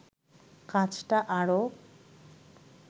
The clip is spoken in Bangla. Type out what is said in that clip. কাজটা আরো